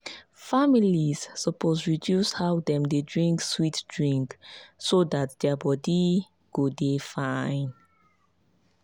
families suppose reduce how dem dey drink sweet drink so dat their body go dey fine.